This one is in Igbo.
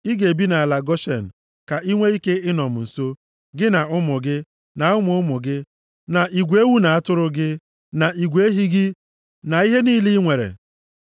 Ị ga-ebi nʼala Goshen, + 45:10 Ala Goshen bụ ala na-emepụta nri nʼebe ọ dị ukwuu. Ọ dị na mpaghara akụkụ ọnụ mmiri osimiri Naịl. ka i nwee ike ịnọ m nso, gị na ụmụ gị, na ụmụ ụmụ gị, na igwe ewu na atụrụ gị, na igwe ehi gị, na ihe niile i nwere.